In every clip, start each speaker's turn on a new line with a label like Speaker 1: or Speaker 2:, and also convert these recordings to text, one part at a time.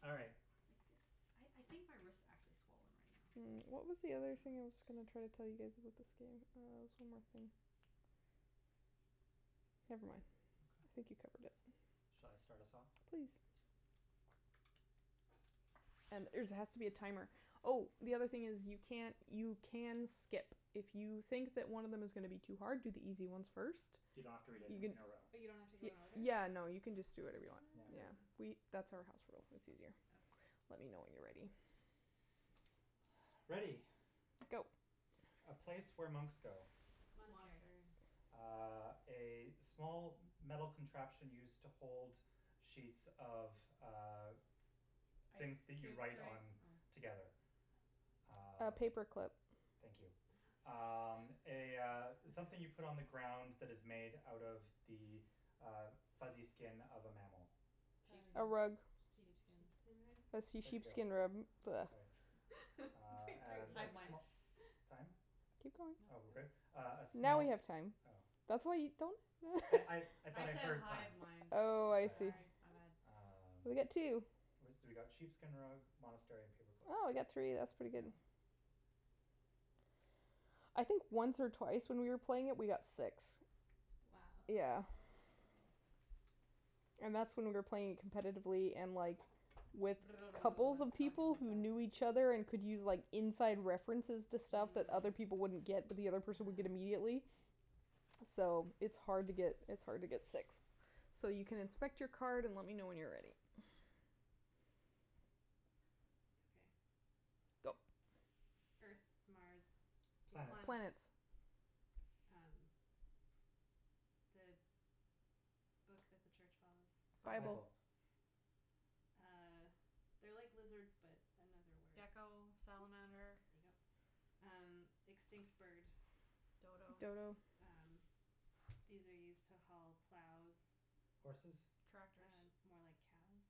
Speaker 1: All right.
Speaker 2: Like this, I I think my wrist actually swollen right now.
Speaker 3: Mm,
Speaker 2: I
Speaker 3: what
Speaker 2: don't
Speaker 3: was the other thing
Speaker 2: know.
Speaker 3: I was going to try to tell you guys about this game? Uh, there was one more thing. Never mind. I think you
Speaker 1: Okay.
Speaker 3: covered it.
Speaker 1: Shall I start us off?
Speaker 3: Please. And there's it has to be a timer. Oh, the other thing is, you can't you can skip. If you think that one of them is gonna be too hard, do the easy ones first.
Speaker 1: You don't have to read it
Speaker 3: You can
Speaker 1: in a row.
Speaker 4: But you don't have to go in order?
Speaker 3: Yeah, no, you can just do whatever you want.
Speaker 1: Yeah.
Speaker 3: Yeah,
Speaker 4: Oh.
Speaker 3: we that's our house rule, it's easier.
Speaker 4: Okay.
Speaker 3: Let me know when you're ready.
Speaker 1: Ready.
Speaker 3: Go.
Speaker 1: A place where monks go.
Speaker 4: Monastery.
Speaker 2: Monastery.
Speaker 1: Uh, a small metal contraption used to hold sheets of, uh, things
Speaker 2: Ice
Speaker 1: that you
Speaker 2: cube
Speaker 1: write
Speaker 2: tray?
Speaker 1: on
Speaker 3: Oh.
Speaker 1: together.
Speaker 2: Oh.
Speaker 3: A
Speaker 1: Um.
Speaker 3: paper clip.
Speaker 1: Thank you. Um, a, uh, something you put on the ground that is made out of the uh fuzzy skin of a mammal.
Speaker 4: Uh,
Speaker 3: A rug.
Speaker 4: sheep
Speaker 2: Sheepskin.
Speaker 4: sheepskin rug?
Speaker 3: A see
Speaker 1: There
Speaker 2: Sheepskin.
Speaker 1: you go.
Speaker 3: sheepskin rub.
Speaker 1: Okay. Uh,
Speaker 4: Between three of
Speaker 1: and
Speaker 4: us
Speaker 1: a
Speaker 4: we
Speaker 2: Hive
Speaker 4: go it.
Speaker 2: mind.
Speaker 1: sm- time?
Speaker 3: Keep going.
Speaker 1: Oh,
Speaker 2: No.
Speaker 1: we're good? Uh a
Speaker 3: Now we
Speaker 1: small
Speaker 3: have time.
Speaker 1: Oh.
Speaker 3: That's why you don't
Speaker 1: I I I thought
Speaker 2: I
Speaker 1: I
Speaker 2: said
Speaker 1: heard
Speaker 2: hive
Speaker 1: time.
Speaker 2: mind.
Speaker 3: Oh, I see.
Speaker 2: Sorry, my bad.
Speaker 4: Ah.
Speaker 1: Um,
Speaker 3: We got two.
Speaker 1: we got sheepskin rug, monastery and paperclip.
Speaker 3: Oh, we got three, that's pretty good.
Speaker 2: Mm.
Speaker 1: Yeah.
Speaker 3: I think once or twice when we were playing it we got six.
Speaker 4: Wow.
Speaker 3: Yeah.
Speaker 2: Wow.
Speaker 3: And that's when we were playing it competitively and, like, with couples of
Speaker 2: Talking
Speaker 3: people
Speaker 2: like
Speaker 3: who
Speaker 2: that.
Speaker 3: knew each other and could use, like, inside references to stuff that other
Speaker 2: Mm.
Speaker 3: people wouldn't get but the other person would get
Speaker 4: Ah.
Speaker 3: immediately, so it's hard to get, it's hard to get six. So you can inspect your card and let me know when you're ready.
Speaker 4: Okay.
Speaker 3: Go.
Speaker 4: Earth, Mars, Venus.
Speaker 1: Planets.
Speaker 3: Planets.
Speaker 2: Planets.
Speaker 4: Um, the book that the church follows.
Speaker 3: Bible.
Speaker 2: Bible.
Speaker 1: Bible.
Speaker 4: Uh, they're like lizards but another word.
Speaker 2: Gecko, salamander.
Speaker 4: There you go. Um, extinct bird.
Speaker 2: Dodo.
Speaker 3: Dodo.
Speaker 4: Um, these are used to haul plows.
Speaker 1: Horses?
Speaker 2: Tractors.
Speaker 4: Uh more like cows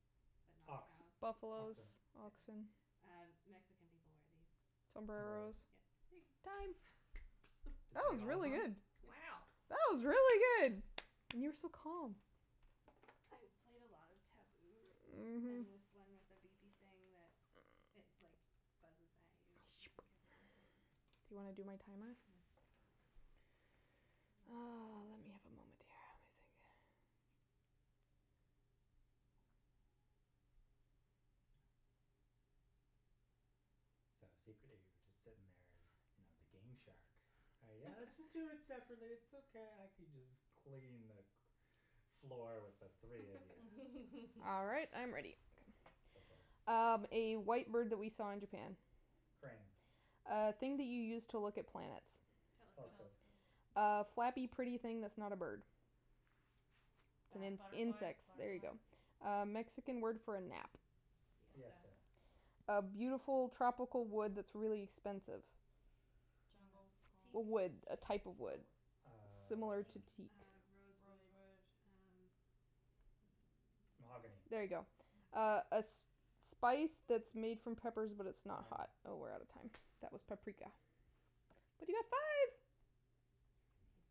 Speaker 4: but not
Speaker 1: Ox,
Speaker 4: cows.
Speaker 3: Buffalos,
Speaker 1: oxen.
Speaker 4: Yeah.
Speaker 3: oxen.
Speaker 4: Uh, Mexican people wear these.
Speaker 3: Sombreros.
Speaker 1: Sombreros.
Speaker 4: Yeah.
Speaker 3: Time.
Speaker 1: Did
Speaker 3: That
Speaker 1: you get
Speaker 3: was
Speaker 1: all of
Speaker 3: really
Speaker 1: them?
Speaker 3: good.
Speaker 4: It's.
Speaker 2: Wow.
Speaker 3: That was really good. And you were so calm.
Speaker 4: I've played a lot of Taboo
Speaker 3: Mhm.
Speaker 4: and this one with a beepy thing that it, like buzzes at you if you don't get it in time.
Speaker 3: Do you wanna do my timer?
Speaker 2: Mm. Mm.
Speaker 3: Oh, let me have a moment here. Let me think.
Speaker 1: So, secretly you were just sitting there, you know, the game shark. Yeah, let's just do it separately, it's okay, I can just clean the cl- floor with the three of you.
Speaker 3: All right, I'm ready.
Speaker 1: Go for it.
Speaker 3: Um, a white bird that we saw in Japan.
Speaker 1: Crane.
Speaker 3: A thing that you use to look at plants.
Speaker 4: Telescope.
Speaker 1: Telescope.
Speaker 2: Telescope.
Speaker 3: A flappy, pretty thing that's not a bird. It's
Speaker 2: Bat-
Speaker 3: ins-
Speaker 2: butterfly,
Speaker 3: insects, there you
Speaker 2: butterfly.
Speaker 3: go. A Mexican word for a nap.
Speaker 4: Siesta.
Speaker 1: Siesta.
Speaker 3: A beautiful tropical wood that's really expensive.
Speaker 4: Uh,
Speaker 2: Jungle,
Speaker 4: teak?
Speaker 2: palm?
Speaker 3: A wood, a type of
Speaker 2: Oh.
Speaker 3: wood.
Speaker 1: Uh.
Speaker 3: Similar
Speaker 4: Teak,
Speaker 3: to teak.
Speaker 4: uh, rosewood,
Speaker 2: Rosewood.
Speaker 4: uh.
Speaker 2: Mm.
Speaker 1: Mahogany.
Speaker 3: There you go.
Speaker 4: Ah.
Speaker 2: Oh.
Speaker 3: A a sp- spice that's made from peppers but it's not
Speaker 1: Time.
Speaker 3: hot. Oh, we're out of time. That was paprika. But you got five!
Speaker 4: Nice.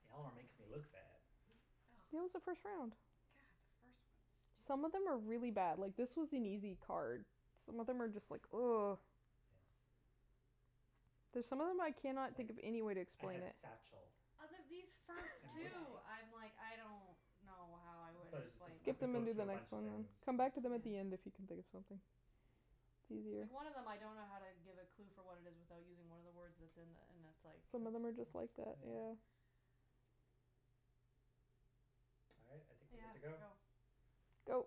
Speaker 1: Y'all are making me look bad.
Speaker 2: Oh.
Speaker 3: It was the first round.
Speaker 2: God, first one's stupid.
Speaker 3: Some of them are really bad. Like, this was an easy card. Some of them are just like
Speaker 1: Yes.
Speaker 3: There's some of them I cannot think
Speaker 1: Like,
Speaker 3: of any way to
Speaker 1: I
Speaker 3: explain
Speaker 1: had
Speaker 3: it.
Speaker 1: satchel.
Speaker 2: Out of these first
Speaker 1: And wh-
Speaker 4: Man
Speaker 2: two,
Speaker 4: bag.
Speaker 2: I'm like, I don't know how I would
Speaker 1: But it's just like
Speaker 2: explain
Speaker 1: you
Speaker 2: them.
Speaker 3: Skip
Speaker 1: could
Speaker 3: them
Speaker 1: go
Speaker 3: and do
Speaker 1: through a
Speaker 3: then next
Speaker 1: bunch of
Speaker 3: one, then.
Speaker 1: things.
Speaker 3: Come back to them at
Speaker 4: Yeah.
Speaker 3: the end if you can think of something. It's easier.
Speaker 1: Yeah.
Speaker 2: Like, one of them I don't know how to give a clue for what it is without using one of the words that's in the, and it's like.
Speaker 3: Some of
Speaker 1: That's,
Speaker 3: them are
Speaker 1: yeah,
Speaker 3: just like that,
Speaker 1: yeah.
Speaker 3: yeah.
Speaker 1: All right, I think we're good
Speaker 2: Yeah,
Speaker 1: to go.
Speaker 2: go.
Speaker 3: Go.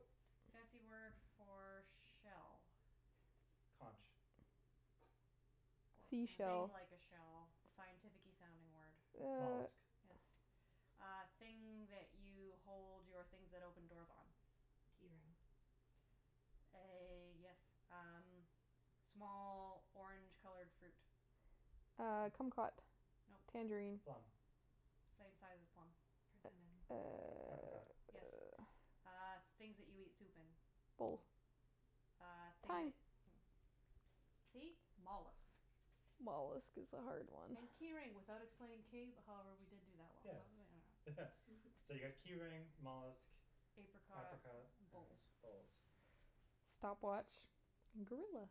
Speaker 2: Fancy word for shell.
Speaker 1: Conch.
Speaker 2: Or
Speaker 4: I
Speaker 2: thing
Speaker 3: Seashell.
Speaker 2: like a
Speaker 4: don't
Speaker 2: shell, the scientificky sounding word.
Speaker 3: Uh.
Speaker 1: Mollusk.
Speaker 2: Yes. Uh, thing that you hold your things that open doors on.
Speaker 4: Key ring.
Speaker 2: A, yes, um, small orange colored fruit.
Speaker 3: Uh, kumquat.
Speaker 2: No.
Speaker 3: Tangerine.
Speaker 1: Plum.
Speaker 2: Same size as a plum.
Speaker 4: Persimmon.
Speaker 3: Uh,
Speaker 1: Apricot.
Speaker 2: Yes.
Speaker 3: uh.
Speaker 2: Uh, things that you eat soup in.
Speaker 3: Bowls.
Speaker 4: Bowls.
Speaker 2: Uh, thing
Speaker 3: Time.
Speaker 2: that mm See? Mollusks.
Speaker 3: Mollusk is a hard one.
Speaker 2: And key ring without explaining cave- however, we did do that one I
Speaker 1: Yes.
Speaker 2: don't know.
Speaker 1: So you got key ring, mollusk,
Speaker 2: Apricot,
Speaker 1: apricot and
Speaker 2: bowls.
Speaker 1: bowls.
Speaker 3: Stopwatch, gorilla.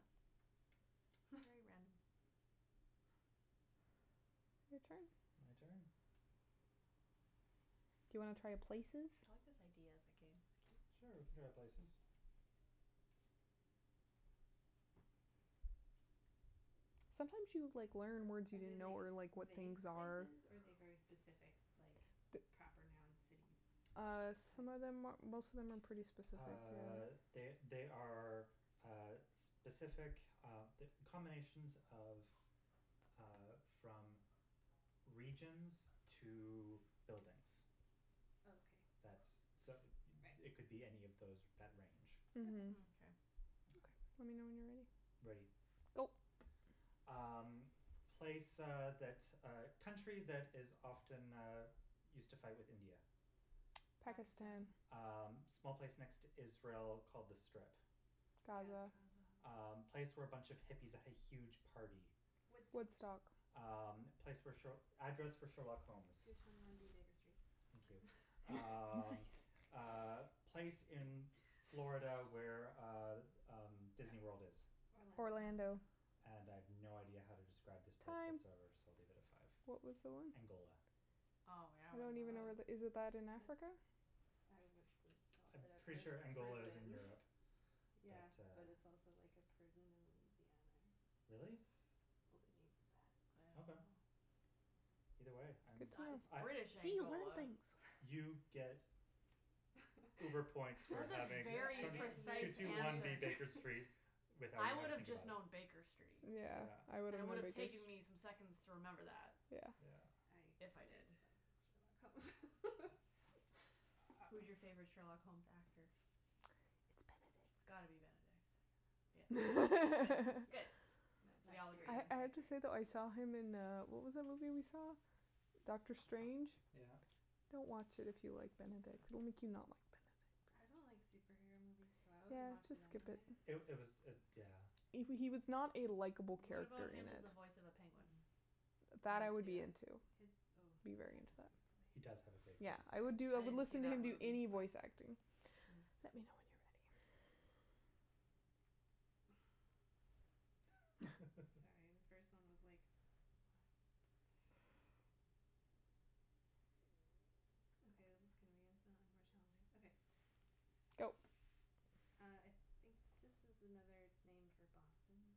Speaker 2: Very random.
Speaker 3: Your turn.
Speaker 1: My turn?
Speaker 3: Do you wanna try places?
Speaker 2: I like this idea as a game. It's
Speaker 1: Sure, we
Speaker 2: cute.
Speaker 1: can try places.
Speaker 3: Sometimes you, like, learn words you
Speaker 4: Are they,
Speaker 3: didn't know
Speaker 4: like
Speaker 3: or, like, what
Speaker 4: vague
Speaker 3: things are.
Speaker 4: places or are they very specific, like,
Speaker 3: The
Speaker 4: the proper noun city
Speaker 3: Uh,
Speaker 4: types?
Speaker 3: some of them, most of them are pretty specific,
Speaker 1: Uh,
Speaker 3: yeah.
Speaker 1: they they are uh specific uh combinations of uh from regions to buildings.
Speaker 4: Okay.
Speaker 1: That's, so
Speaker 4: Right.
Speaker 1: it it could be any of those that range.
Speaker 4: Okay.
Speaker 3: Mhm.
Speaker 2: Mkay.
Speaker 3: Okay. Let
Speaker 1: Okay.
Speaker 3: me know when you're ready.
Speaker 1: Ready.
Speaker 3: Go.
Speaker 1: Um, place uh that, uh, country that is often used to fight with India.
Speaker 3: Pakistan.
Speaker 2: Pakistan.
Speaker 1: Um, small place next to Israel called The Strip.
Speaker 4: Gaza.
Speaker 3: Gaza.
Speaker 1: Um,
Speaker 2: Gaza.
Speaker 1: place where a bunch of hippies had a huge party.
Speaker 4: Woodstock.
Speaker 3: Woodstock.
Speaker 1: Um, place where sh- address for Sherlock Holmes.
Speaker 4: Two twenty one B Baker Street.
Speaker 1: Thank you.
Speaker 3: Nice.
Speaker 1: Um, uh, place in Florida where uh, um, Disneyworld is.
Speaker 4: Orlando.
Speaker 3: Orlando.
Speaker 2: - ando
Speaker 1: And I have no idea how to describe this place
Speaker 3: Time.
Speaker 1: whatsoever, so I'll leave it at five.
Speaker 3: What was the one?
Speaker 1: Angola.
Speaker 2: Oh, yeah, I
Speaker 3: I don't
Speaker 2: wouldn't know
Speaker 3: even know
Speaker 2: that.
Speaker 3: where that, is that in
Speaker 4: Oh,
Speaker 3: Africa?
Speaker 4: that's. I would have called
Speaker 1: I'm
Speaker 4: it a
Speaker 1: pretty sure
Speaker 4: pri-
Speaker 1: Angola is in
Speaker 4: prison
Speaker 1: Europe, but
Speaker 4: Yeah, but
Speaker 1: uh.
Speaker 4: it's also like a prison in Louisiana or something.
Speaker 1: Really?
Speaker 4: Well, they named it
Speaker 2: I don't
Speaker 1: Okay.
Speaker 2: know.
Speaker 4: that.
Speaker 1: Either way, I'm,
Speaker 3: Good
Speaker 2: It
Speaker 3: to
Speaker 2: it's
Speaker 1: I
Speaker 3: know.
Speaker 2: British
Speaker 3: See, you learn
Speaker 2: Angola.
Speaker 3: things.
Speaker 1: You get uber points for
Speaker 2: That's a
Speaker 1: having
Speaker 4: Yeah, I
Speaker 2: very
Speaker 1: the
Speaker 4: get
Speaker 1: two
Speaker 2: precise
Speaker 4: nerd
Speaker 1: two one
Speaker 2: answer.
Speaker 4: points
Speaker 1: B Baker
Speaker 4: for.
Speaker 1: Street without
Speaker 2: I
Speaker 1: even having
Speaker 2: would
Speaker 1: to
Speaker 2: have
Speaker 1: think
Speaker 2: just
Speaker 1: about it.
Speaker 2: known Baker Street,
Speaker 3: Yeah.
Speaker 1: Yeah.
Speaker 2: and it would have taken me some seconds to remember that.
Speaker 3: Yeah.
Speaker 1: Yeah.
Speaker 4: I
Speaker 2: If I did.
Speaker 4: really like Sherlock Holmes.
Speaker 2: Who's your favorite Sherlock Holmes actor?
Speaker 3: It's
Speaker 2: It's
Speaker 3: Benedict.
Speaker 2: gotta be Benedict, yeah. Good, good,
Speaker 4: Yeah,
Speaker 2: good,
Speaker 4: no,
Speaker 2: we
Speaker 4: that's
Speaker 2: all agree
Speaker 4: series
Speaker 3: I
Speaker 2: then.
Speaker 4: is
Speaker 3: I have
Speaker 4: like
Speaker 3: to
Speaker 4: great.
Speaker 3: say, though, I saw him in, uh, what was that movie we saw? Doctor Strange?
Speaker 1: Yeah.
Speaker 3: Don't watch it if you like Benedict. It will make you not like
Speaker 4: I
Speaker 3: Benedict.
Speaker 4: don't like superhero movies, so I wouldn't
Speaker 3: Yeah,
Speaker 4: watch
Speaker 3: just
Speaker 4: it
Speaker 3: skip it.
Speaker 4: anyway.
Speaker 1: It it was it, yeah.
Speaker 3: He w- he was not a likeable
Speaker 2: What about
Speaker 3: character in
Speaker 2: him as
Speaker 3: it.
Speaker 2: the voice of a penguin?
Speaker 4: Mm.
Speaker 2: Would
Speaker 3: That, I
Speaker 2: anyone
Speaker 3: would
Speaker 2: see
Speaker 3: be
Speaker 2: that?
Speaker 3: into.
Speaker 4: His, oh,
Speaker 3: Be
Speaker 4: he
Speaker 3: very
Speaker 4: has a
Speaker 3: into that.
Speaker 4: great
Speaker 1: He does have a
Speaker 4: voice.
Speaker 1: great voice.
Speaker 3: Yeah, I would do, I
Speaker 2: I I
Speaker 3: would
Speaker 2: didn't see
Speaker 3: listen to him
Speaker 2: that
Speaker 3: do
Speaker 2: movie,
Speaker 3: any
Speaker 2: but
Speaker 3: voice acting.
Speaker 2: Hmm.
Speaker 3: Let me know when you're ready.
Speaker 4: Sorry, the first one was like, what? Okay, this is gonna be infinitely more challenging. Okay.
Speaker 3: Go.
Speaker 4: Uh, I think this is another name for Boston.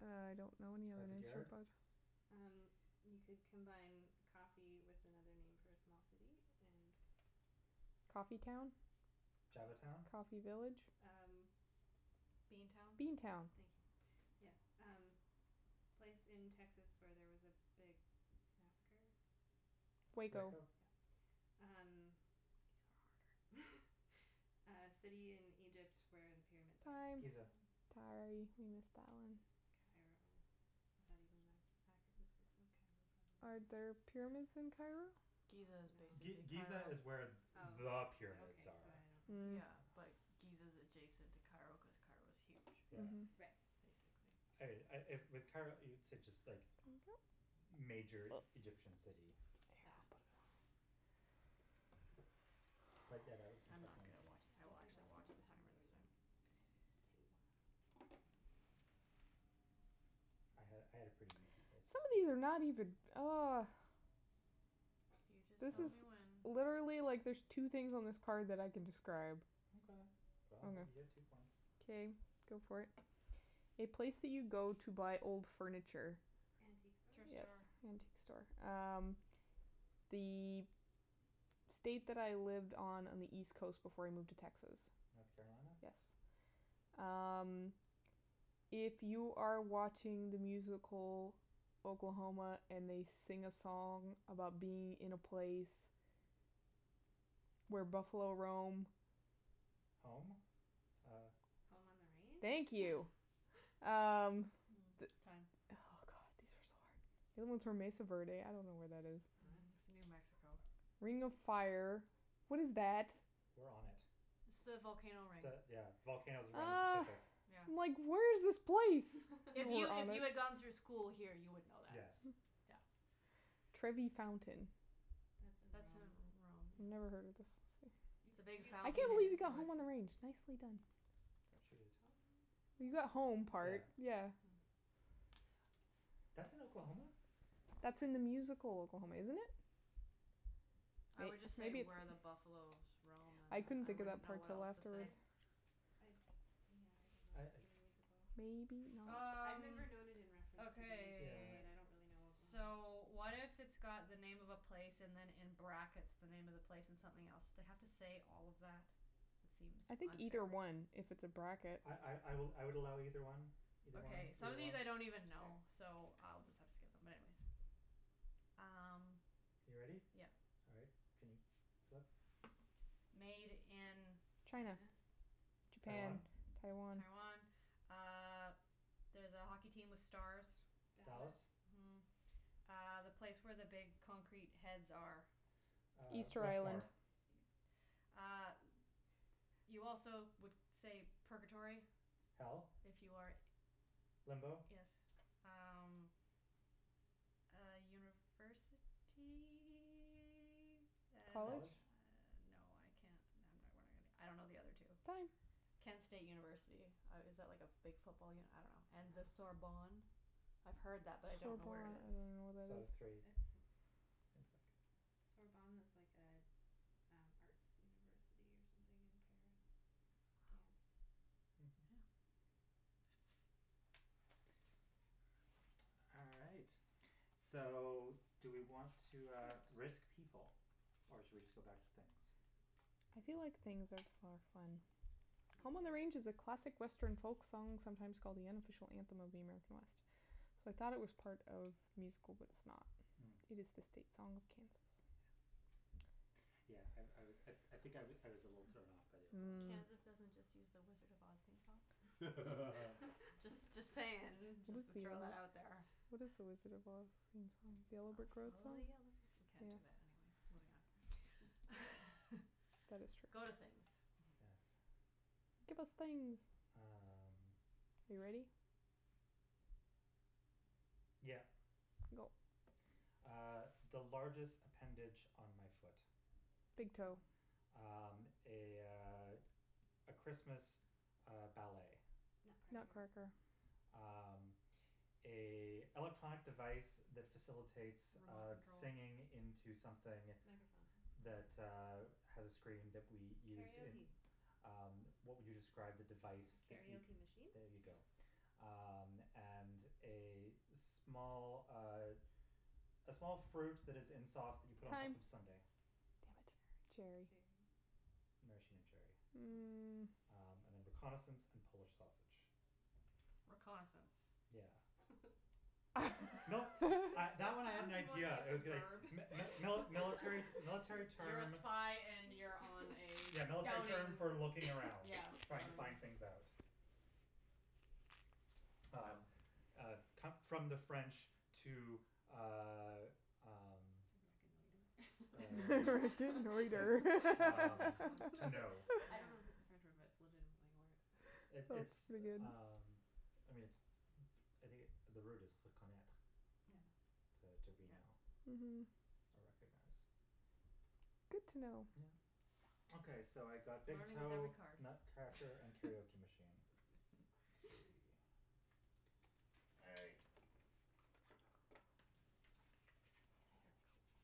Speaker 3: I don't know any other
Speaker 1: Harvard
Speaker 3: names for
Speaker 1: Yard.
Speaker 3: Bo-
Speaker 4: Um, you could combine coffee with another name for a small city and.
Speaker 3: Coffee town?
Speaker 1: Java town?
Speaker 3: Coffee village?
Speaker 4: Um.
Speaker 2: Bean town?
Speaker 3: Bean town.
Speaker 4: Thank you, yes. Um, place in Texas where there was a big massacre.
Speaker 3: Waco.
Speaker 1: Waco?
Speaker 4: Yep.
Speaker 3: These
Speaker 2: These are
Speaker 3: are harder.
Speaker 2: harder.
Speaker 4: Uh city in Egypt where the pyramids
Speaker 3: Time.
Speaker 4: are.
Speaker 1: Giza.
Speaker 2: Time.
Speaker 3: Sorry, you missed that one.
Speaker 4: Cairo. Is that even an accurate description of Cairo, probably
Speaker 3: Are there
Speaker 4: not.
Speaker 3: pyramids in Cairo?
Speaker 2: Giza is
Speaker 4: No.
Speaker 1: G-
Speaker 2: basically
Speaker 1: Giza
Speaker 2: Cairo.
Speaker 1: is where there
Speaker 4: Oh,
Speaker 1: are
Speaker 4: okay,
Speaker 1: pyramids
Speaker 4: so
Speaker 1: are.
Speaker 4: I don't
Speaker 3: Mm.
Speaker 2: Yeah,
Speaker 4: know.
Speaker 2: like, Giza is adjacent to Cairo cuz Cairo's huge,
Speaker 1: Yeah.
Speaker 3: Mhm.
Speaker 4: Right.
Speaker 2: basically.
Speaker 1: I I with Cairo, it's just like
Speaker 3: Thank you.
Speaker 1: major Egyptian city.
Speaker 4: Yeah.
Speaker 1: But, yeah, that was some
Speaker 2: I'm
Speaker 1: tough
Speaker 2: not
Speaker 1: ones.
Speaker 2: good at watch,
Speaker 4: I
Speaker 2: I will
Speaker 4: think I got
Speaker 2: actually watch
Speaker 4: what
Speaker 2: the
Speaker 4: how
Speaker 2: timer
Speaker 4: many
Speaker 2: this
Speaker 4: were
Speaker 2: time.
Speaker 4: those Two.
Speaker 1: I had I had a pretty easy places.
Speaker 3: Some of these are not even oh.
Speaker 2: You just
Speaker 3: This
Speaker 2: tell
Speaker 3: is
Speaker 2: me when.
Speaker 3: Literally, like, there's two things on this card that I can describe.
Speaker 1: Okay, well, I'll let you get two
Speaker 3: Okay.
Speaker 1: points.
Speaker 3: Okay, go for it. A place that you go to buy old furniture.
Speaker 4: Antique store?
Speaker 2: Thrift
Speaker 3: Yes,
Speaker 2: store.
Speaker 3: antique store. Um, the state that I lived on on the East coast before I moved to Texas.
Speaker 1: North Carolina.
Speaker 3: Yes. Um, if you are watching the musical Oklahoma and they sing a song about being in a place where buffalo roam.
Speaker 1: Home? Uh.
Speaker 4: Home on the
Speaker 3: Thank
Speaker 4: range?
Speaker 3: you. Um.
Speaker 2: Mm time.
Speaker 3: Oh, god, these are so hard. The other ones were Mesa Verde. I don't know where that is.
Speaker 4: Oh.
Speaker 2: Mhm. It's New Mexico.
Speaker 3: Ring of Fire. What is that?
Speaker 1: We're on it.
Speaker 2: It's the volcano ring.
Speaker 1: The, yeah, volcanoes around the
Speaker 3: Oh.
Speaker 1: Pacific.
Speaker 2: Yeah.
Speaker 3: I'm like where's this place?
Speaker 2: If
Speaker 3: You
Speaker 2: you
Speaker 3: are on
Speaker 2: if
Speaker 3: it.
Speaker 2: you had gone through school here, you would know that.
Speaker 1: Yes.
Speaker 2: Yeah.
Speaker 3: Trevi Fountain.
Speaker 4: That's in
Speaker 2: That's in
Speaker 4: Rome.
Speaker 2: Rome,
Speaker 3: Never
Speaker 2: yeah.
Speaker 3: heard of this. See.
Speaker 4: You've,
Speaker 2: It's a big
Speaker 4: you've
Speaker 3: I can't
Speaker 4: seen
Speaker 2: fountain
Speaker 4: it
Speaker 2: with
Speaker 3: believe you
Speaker 4: in
Speaker 3: got Home on
Speaker 4: pictures.
Speaker 3: the Range. Nicely done.
Speaker 1: She did.
Speaker 3: You got home
Speaker 1: Yeah.
Speaker 3: part, yeah.
Speaker 2: Hmm.
Speaker 1: That's in Oklahoma?
Speaker 3: That's in the musical Oklahoma, isn't it?
Speaker 2: I would just say
Speaker 3: Maybe it's
Speaker 2: where the buffalos roam and
Speaker 3: I couldn't
Speaker 2: then I
Speaker 3: think of
Speaker 2: wouldn't
Speaker 3: that
Speaker 2: know
Speaker 3: part
Speaker 2: what
Speaker 3: till
Speaker 2: else to
Speaker 4: I
Speaker 3: afterwards.
Speaker 2: say.
Speaker 4: I, yeah, I don't
Speaker 1: I
Speaker 4: know if it's
Speaker 1: uh
Speaker 4: in the musical.
Speaker 3: Maybe
Speaker 4: I've
Speaker 3: not.
Speaker 2: Um,
Speaker 4: never known it in reference to the musical,
Speaker 1: Yeah.
Speaker 2: okay.
Speaker 4: but I don't really know Oklahoma.
Speaker 2: So, what if it's got the name of a place and then in brackets, the name of the place and something else. have to say all of that? It seems
Speaker 3: I think
Speaker 2: unfair.
Speaker 3: either one if it's a bracket.
Speaker 1: I I I I would I would allow either one, either one,
Speaker 2: Okay. Some
Speaker 1: either
Speaker 2: of
Speaker 1: one.
Speaker 2: these I don't even know,
Speaker 4: Sure.
Speaker 2: so I'll just have to skip them, but anyways. Um.
Speaker 1: You ready?
Speaker 2: Yeah.
Speaker 1: All right, can you flip?
Speaker 2: Made in.
Speaker 3: China.
Speaker 4: China?
Speaker 3: Japan,
Speaker 1: Taiwan?
Speaker 3: Taiwan.
Speaker 2: Taiwan. Uh there's a hockey team with stars.
Speaker 1: Dallas.
Speaker 4: Dallas.
Speaker 2: Mhm. Uh, the place where the big concrete heads are.
Speaker 1: Uh,
Speaker 3: Easter Island.
Speaker 1: Rushmore.
Speaker 2: E- uh, you also would say purgatory
Speaker 1: Hell?
Speaker 2: if you are
Speaker 1: Limbo
Speaker 2: Yes. Um, uh university. And uh
Speaker 3: College?
Speaker 1: College?
Speaker 2: no, I can't I don't know the other two.
Speaker 3: Time.
Speaker 2: Kent State University. Uh is that like a big football uni- I don't know. And the
Speaker 4: Ah.
Speaker 2: Sorbonne. I've heard that,
Speaker 3: Sorbonne. I
Speaker 2: but I
Speaker 3: don't
Speaker 2: don't know where it is.
Speaker 3: even know where
Speaker 1: So,
Speaker 3: that is.
Speaker 1: three.
Speaker 4: It's.
Speaker 1: It's like
Speaker 4: Sorbonne is like a an arts university or something in Paris.
Speaker 2: Wow.
Speaker 4: Dance.
Speaker 1: Mhm.
Speaker 2: Yeah.
Speaker 1: All right, so do we want to, uh, risk people or should we just go back to things?
Speaker 3: I feel like things are for fun. Home on the Range is a
Speaker 4: Yeah.
Speaker 3: classic Western folk song sometimes called the unofficial anthem of the American West. So, I thought it was part of musical, but it's not.
Speaker 1: Mm.
Speaker 3: It is the state song of Kansas.
Speaker 1: Yeah. Yeah, I I was, I I think I I was a little thrown off by the
Speaker 3: Mm.
Speaker 1: Oklahoma.
Speaker 2: Kansas doesn't just use the Wizard of Oz theme song? Just just saying, just to throw that out there.
Speaker 3: theme? What is the Wizard of Oz theme song? The
Speaker 2: I
Speaker 3: Yellow Brick Road
Speaker 2: follow
Speaker 3: song?
Speaker 2: the yellow brick- we can't do that anyways, moving on.
Speaker 3: That is true.
Speaker 2: Go to things.
Speaker 1: Yes.
Speaker 3: Give us things.
Speaker 1: Um.
Speaker 3: Are you ready?
Speaker 1: Yep.
Speaker 3: Go.
Speaker 1: Uh, the largest appendage on my foot.
Speaker 4: Big
Speaker 3: Big
Speaker 4: toe.
Speaker 3: toe.
Speaker 1: Um, a, uh, a Christmas, uh, ballet.
Speaker 4: Nutcracker.
Speaker 3: Nutcracker.
Speaker 2: Nutcracker.
Speaker 1: Um, a electronic device that facilitates
Speaker 2: Remote
Speaker 1: uh
Speaker 2: control.
Speaker 1: singing into something
Speaker 4: Microphone.
Speaker 1: that, uh,
Speaker 2: Hmm.
Speaker 1: has a screen that we used in.
Speaker 4: Karaoke.
Speaker 1: Um, what would you describe the device that you.
Speaker 4: Karaoke machine?
Speaker 1: There you go. Um, and a small, uh, a small fruit that is in sauce that you put on top
Speaker 3: Time.
Speaker 1: of a sundae.
Speaker 2: Damn it. Cherry.
Speaker 4: Cherry.
Speaker 1: Maraschino cherry.
Speaker 2: Hmm.
Speaker 3: Mm.
Speaker 1: Um and then reconnaissance and Polish sausage.
Speaker 2: Reconnaissance?
Speaker 1: Yeah. No, I
Speaker 4: That
Speaker 1: that
Speaker 4: that
Speaker 1: one I had an
Speaker 4: sounds more
Speaker 1: idea.
Speaker 4: like
Speaker 1: I
Speaker 4: a
Speaker 1: was going
Speaker 4: verb.
Speaker 1: mi- mi- mili- military military
Speaker 2: You're a
Speaker 1: term.
Speaker 2: spy and you're on a
Speaker 1: Yeah, military term
Speaker 2: scouting,
Speaker 1: for looking around,
Speaker 2: yeah,
Speaker 1: trying to
Speaker 2: scouting.
Speaker 1: find things out.
Speaker 2: Well.
Speaker 1: Um, uh, come from the French to, uh, um,
Speaker 4: To
Speaker 1: uh,
Speaker 4: reconnoiter.
Speaker 1: like, um,
Speaker 2: Reconnaitre.
Speaker 1: to know.
Speaker 4: I
Speaker 2: Yeah.
Speaker 4: don't know if it's a French word, but it's legitimately a word.
Speaker 1: It
Speaker 3: That's pretty
Speaker 1: it's,
Speaker 3: good.
Speaker 1: um, I mean, it's, I think the word is reconnaitre
Speaker 4: Yeah.
Speaker 2: Mhm.
Speaker 1: to to
Speaker 2: Yeah.
Speaker 1: reknow
Speaker 3: Mhm.
Speaker 1: or recognize.
Speaker 3: Good to know.
Speaker 1: Yeah. Okay, so I got big
Speaker 2: Learning with
Speaker 1: toe,
Speaker 2: every card.
Speaker 1: Nutcracker and karaoke machine. Three. All right.
Speaker 2: These are cool.